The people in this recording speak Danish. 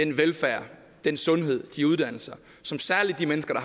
den velfærd den sundhed og de uddannelser som særlig de mennesker